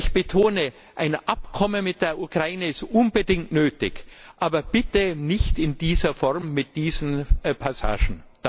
Ich betone Ein Abkommen mit der Ukraine ist unbedingt nötig, aber bitte nicht in dieser Form mit diesen Passagen.